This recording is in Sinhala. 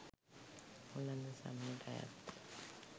ඕලන්ද සමයට අයත් ය.